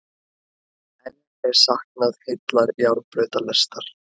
Enn er saknað heillar járnbrautalestar